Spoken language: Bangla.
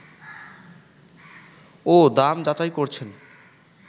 ও দাম যাচাই করছেন